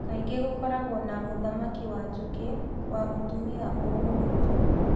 Kaingĩ gũkoragwo na mũthamaki wa njũki wa mũtumia o ũmwe tu